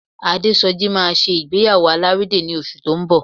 Adésọjí máa ṣe ìgbéyàwó alárédè ní oṣù tó ń bọ̀